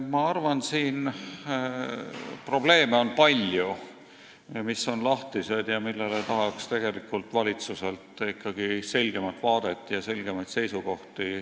Ma arvan, et siin on palju probleeme, mis on lahtised ja millele tahaks valitsuselt ikkagi selgemat vaadet ja selgemaid seisukohti.